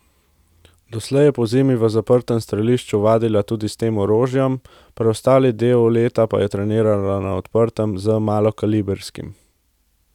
Doslej je pozimi v zaprtem strelišču vadila s tem orožjem, preostali del leta pa je trenirala na odprtem z malokalibrskim.